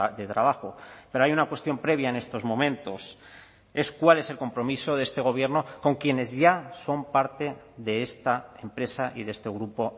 de trabajo pero hay una cuestión previa en estos momentos es cuál es el compromiso de este gobierno con quienes ya son parte de esta empresa y de este grupo